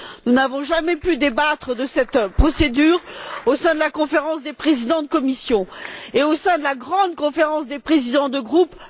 Nous n'avons jamais pu débattre de cette procédure au sein de la Conférence des présidents des commissions, pas plus qu'au sein de la grande Conférence des présidents de groupe.